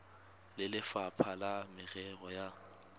le lefapha la merero ya